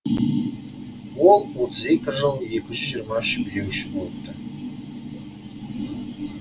ол отыз екі жыл екі жүз жиырма үш билеуші болыпты